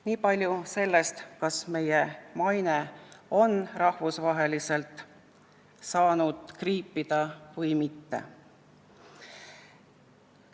Niipalju sellest, kas meie maine on rahvusvaheliselt kriipida saanud või mitte.